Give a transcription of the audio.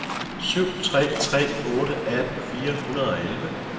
syv tre tre otte atten fire hundrede og elleve